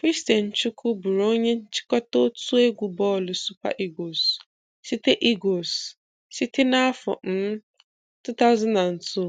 Christian Chukwu bụụrụ onye nchịkọta otu egwu bọọlụ Super Eagles site Eagles site n'afọ um 2002